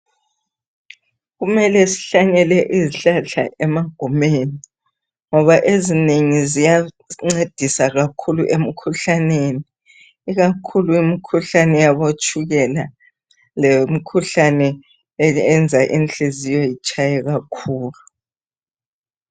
Kumele sihlanyele izihlahla emagumeni, ngoba ezinengi ziyancedisa kakhulu emkhuhlaneni ikakhulu imkhuyabotshukela lemkhuhlane eyenza inhliziyo itshaye kakhulu.